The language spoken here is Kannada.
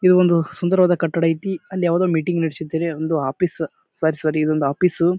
ಇದು ಒಂದು ಸುಂದರವಾದ ಕಟ್ಟಡ ಐತಿ ಅಲ್ಲಿ ಯಾವ್ದೋ ಒಂದ್ ಮೀಟಿಂಗ್ ನಡೆಸಿದ್ದಾರೆ ಅದು ಒಂದು ಆಫೀಸ್ ಐತಿ ಸಾರೀ ಸಾರೀ ಇದೊಂದು ಆಫೀಸ್ .